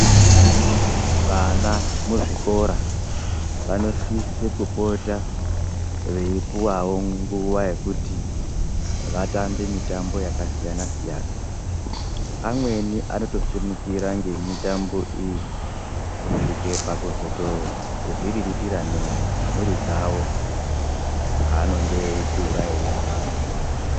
Vana muzvikora vanosisa kupota veipuwawo nguwa yekuti vatambe mitambo yakasiyanasiyana amweni ano tosimukira ngemitambo iyi kutosvike pakuzotozvirirtira nemhuri dzavo paanenge eikura eirarama.